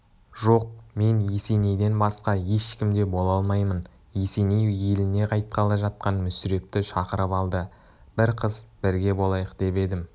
жоқ мен есенейден басқа ешкім де бола алмаймын есеней еліне қайтқалы жатқан мүсірепті шақырып алды бір қыс бірге болайық деп едім